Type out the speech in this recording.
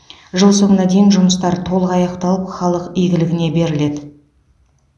жыл соңына дейін жұмыстар толық аяқталып халық игілігіне беріледі